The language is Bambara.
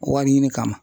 Wari ɲini kama